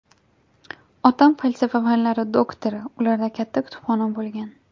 Otam falsafa fanlari doktori, ularda katta kutubxona bo‘lgan.